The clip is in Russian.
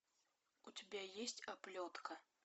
у тебя есть оплетка